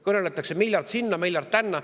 Kõneldakse, et miljard sinna, miljard tänna.